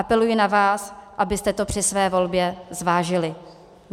Apeluji na vás, abyste to při své volbě zvážili.